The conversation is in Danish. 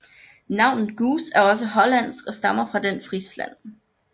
Navnet Goose er også hollandsk og stammer fra den Frisland